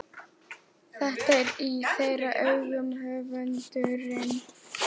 Þetta er í þeirra augum höfundurinn